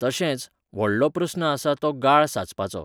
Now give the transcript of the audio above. तशेंच, व्हडलो प्रस्न आसा तो गाळ सांचपाचो .